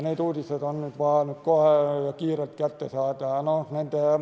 Need uudised on vaja kohe ja kiirelt kätte saada.